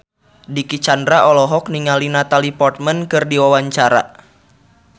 Dicky Chandra olohok ningali Natalie Portman keur diwawancara